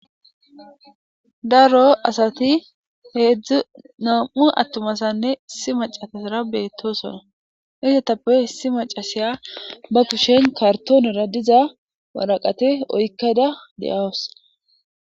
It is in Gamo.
daro asati heedzdzu nam7u attumasanne issi macasasara beettosona isetappe hessi macasiya ba kushen kartoonera diza waraqate oykkada deawus